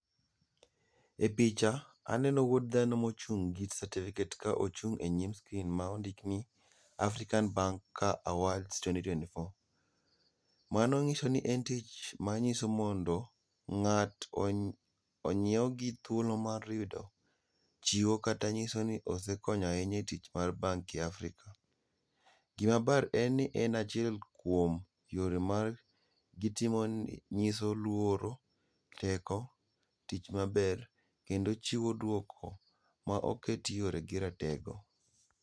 E picha aneno wuod dhano mochung gi certificate ka ochung e nyim screen ma ondik ni African Awards 2024. Mano nyiso ni en tich manyiso mondo ngat onyiew gi thuolo mar yudo chiwo kata nyiso ni osekonyo ahinya e tich mar bank africa. Gima ber en ni achiel kuom yore mar gitimo nyiso luoro, teko, tich maber kendo chiwo duoko maoket yore gi rateko